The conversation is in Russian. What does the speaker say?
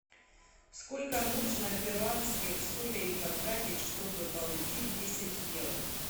сколько нужно перуанских солей потратить чтобы получить десять евро